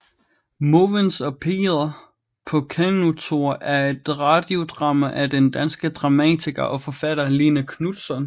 Måvens og Peder på kanotur er et radiodrama af den danske dramatiker og forfatter Line Knutzon